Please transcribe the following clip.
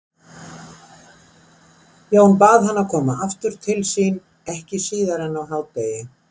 Jón bað hann að koma aftur til sín ekki síðar en á hádegi.